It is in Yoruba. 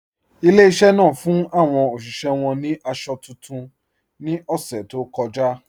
Ilẹ̀-ìṣẹ̀ náà fún awọn oṣiṣẹ̀ wọn ni àṣọ tuntun ni ọṣẹ̀ tó kọja